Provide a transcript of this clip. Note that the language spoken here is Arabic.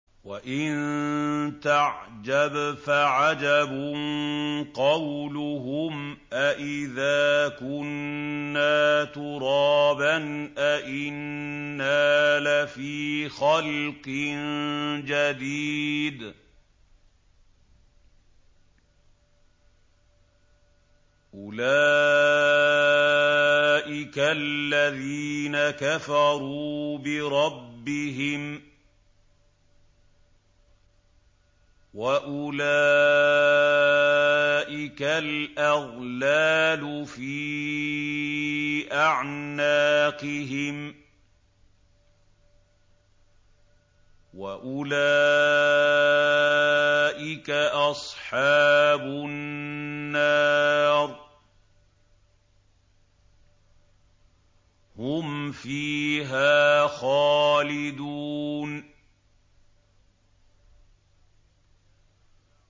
۞ وَإِن تَعْجَبْ فَعَجَبٌ قَوْلُهُمْ أَإِذَا كُنَّا تُرَابًا أَإِنَّا لَفِي خَلْقٍ جَدِيدٍ ۗ أُولَٰئِكَ الَّذِينَ كَفَرُوا بِرَبِّهِمْ ۖ وَأُولَٰئِكَ الْأَغْلَالُ فِي أَعْنَاقِهِمْ ۖ وَأُولَٰئِكَ أَصْحَابُ النَّارِ ۖ هُمْ فِيهَا خَالِدُونَ